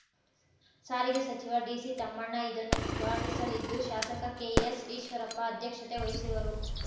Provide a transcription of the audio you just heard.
ಸಾರಿಗೆ ಸಚಿವ ಡಿಸಿ ತಮ್ಮಣ್ಣ ಇದನ್ನು ಉದ್ಘಾಟಿಸಲಿದ್ದು ಶಾಸಕ ಕೆಎಸ್‌ ಈಶ್ವರಪ್ಪ ಅಧ್ಯಕ್ಷತೆ ವಹಿಸುವರು